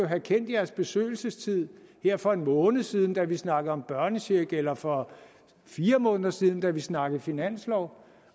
have kendt jeres besøgelsestid her for en måned siden da vi snakkede om børnecheck eller for fire måneder siden da vi snakkede finanslov